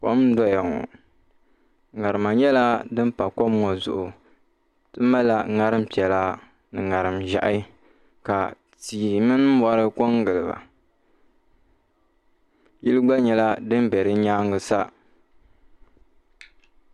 Kom n doya ŋo ŋarima nyɛla din pa kom ŋo zuɣu ti malla ŋarim piɛla ni ŋarim ʒiɛhi ka tihi mini mori ko n giliba yili gba nyɛla din bɛ di nyaanga sa